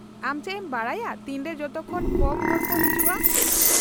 -ᱟᱢ ᱪᱮᱫ ᱮᱢ ᱵᱟᱰᱟᱭᱟ ᱛᱤᱱᱨᱮ ᱡᱚᱛᱚᱠᱷᱚᱱ ᱠᱚᱢ ᱦᱚᱲ ᱠᱚ ᱦᱤᱡᱩᱜᱼᱟ ?